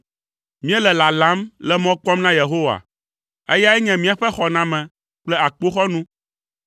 Míele lalam le mɔ kpɔm na Yehowa, eyae nye míaƒe xɔname kple akpoxɔnu.